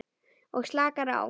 Og slakar á.